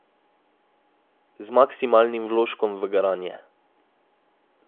Z maksimalnim vložkom v garanje.